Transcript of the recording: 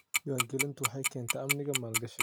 Diiwaangelintu waxay keentaa amniga maalgashiga.